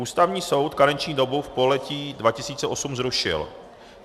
Ústavní soud karenční dobu v pololetí 2008 zrušil.